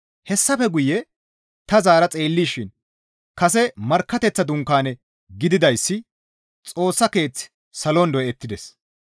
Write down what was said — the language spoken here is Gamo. Hessafe guye ta zaara xeellishin kase markkateththa dunkaane gididayssi Xoossa Keeththi salon doyettides.